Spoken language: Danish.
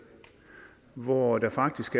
hvor der faktisk